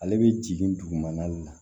Ale bɛ jigin dugumana la